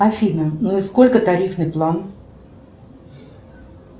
афина ну и сколько тарифный план